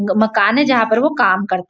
मकान है जहाँ पर वो काम करते--